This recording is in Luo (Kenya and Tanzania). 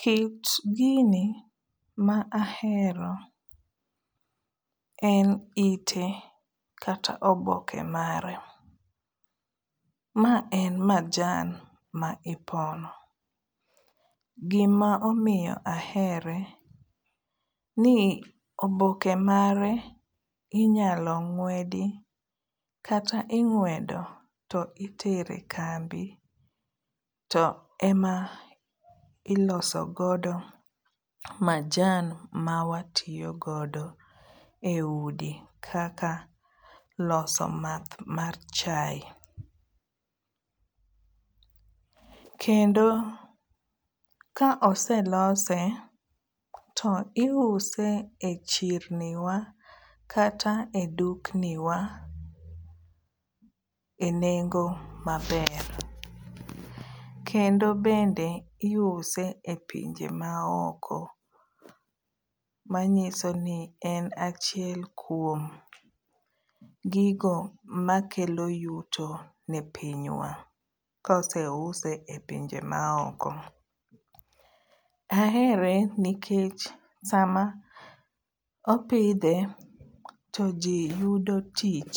Kit gini ma ahero en ite kata oboke mare. Ma en majan ma ipono gima omiyo ahere ni oboke mare inyalo ng'wedi kata ing'wedo to itere kambi to ema iloso godo majan mawatiyo godo e udi kaka loso math mar chai. Kendo ka oselose to iuse e chirni wa kata e dukni wa e nengo maber. Kendo bende iuse e pinje maoko manyiso ni en achiel kuom gigo makelo yuto ne pinywa koseuse e pinje maoko. Ahere nikech sama apidhe to jii yudo tich